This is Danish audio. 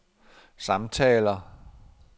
samtaler